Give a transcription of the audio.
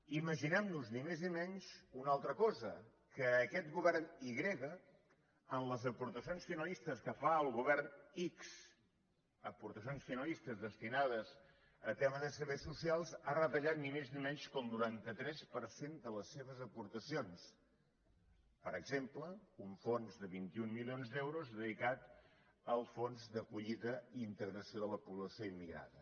imaginem nos ni més ni menys una altra cosa que aquest govern i grega en les aportacions finalistes que fa al govern ics aportacions finalistes destinades a tema de serveis socials ha retallat ni més ni menys que el noranta tres per cent de les seves aportacions per exemple un fons de vint un milions d’euros dedicat al fons d’acollida i integració de la població immigrada